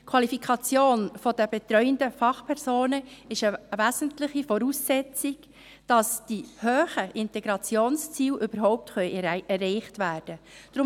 Die Qualifikation der betreuenden Fachpersonen ist eine wesentliche Voraussetzung, damit die hohen Integrationsziele überhaupt erreicht werden können.